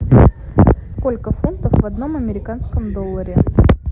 сколько фунтов в одном американском долларе